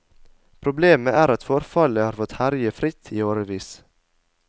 Problemet er at forfallet har fått herje fritt i årevis.